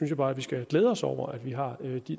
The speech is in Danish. bare vi skal glæde os over at vi har